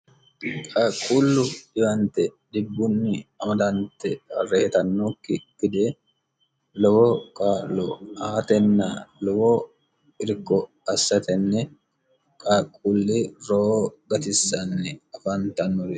haaqqullu dhiwante dibbunni amadante rehitannokki dide lowo kaalo haatenna lowo irko assatenne kaaqquulli roo gatissanni afaantannuri